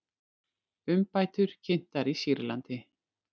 Umbætur kynntar í Sýrlandi